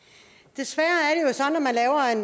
desværre